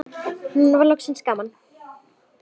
Nú var loksins gaman.